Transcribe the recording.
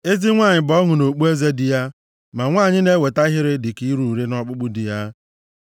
Ezi nwanyị bụ ọṅụ na okpueze di ya, ma nwanyị na-eweta ihere dịka ire ure nʼọkpụkpụ di ya.